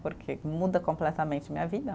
Porque muda completamente minha vida.